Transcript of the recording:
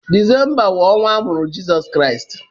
Disemba wụ ọnwa a mụrụ Jesu Kristi.